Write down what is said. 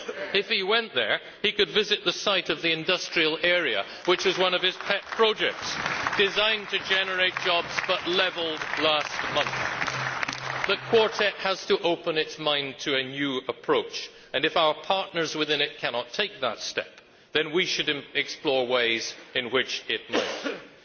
If he went there, he could visit the site of the industrial area, which is one of his pet projects, designed to generate jobs, but levelled last month. The Quartet has to open its mind to a new approach and, if our partners within it cannot take that step, then we should explore ways in which it might.